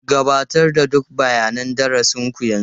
Gabatar da duk bayanan darasin ku yanzu.